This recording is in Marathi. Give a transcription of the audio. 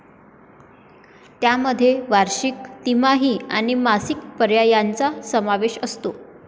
त्यामध्ये वार्षिक, तिमाही आणि मासिक पर्यायांचाही समावेश असतो.